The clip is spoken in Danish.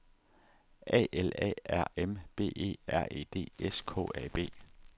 A L A R M B E R E D S K A B